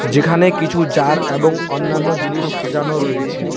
যেখানে কিছু জার এবং অন্যান্য জিনিস সাজানো রয়েছে।